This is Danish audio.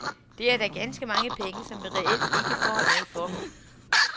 Det er da ganske mange penge som vi reelt ikke får noget for.